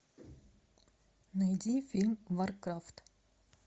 найди фильм варкрафт